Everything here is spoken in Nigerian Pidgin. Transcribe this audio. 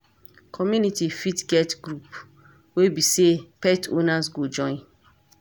Community fit get group wey be sey pet owners go join